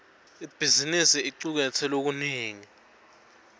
ibhizimisi icuketse lokunengi